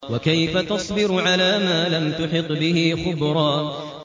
وَكَيْفَ تَصْبِرُ عَلَىٰ مَا لَمْ تُحِطْ بِهِ خُبْرًا